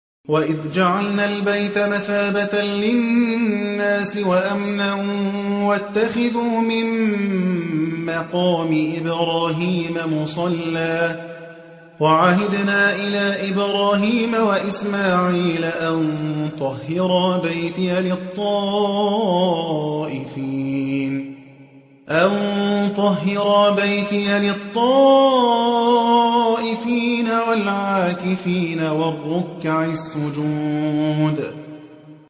وَإِذْ جَعَلْنَا الْبَيْتَ مَثَابَةً لِّلنَّاسِ وَأَمْنًا وَاتَّخِذُوا مِن مَّقَامِ إِبْرَاهِيمَ مُصَلًّى ۖ وَعَهِدْنَا إِلَىٰ إِبْرَاهِيمَ وَإِسْمَاعِيلَ أَن طَهِّرَا بَيْتِيَ لِلطَّائِفِينَ وَالْعَاكِفِينَ وَالرُّكَّعِ السُّجُودِ